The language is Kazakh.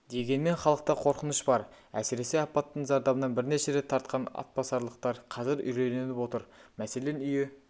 дегенмен халықта қорқыныш бар әсіресе апаттың зардабын бірнеше рет тартқан атбасарлықтар қазір үрейленіп отыр мәселен үйі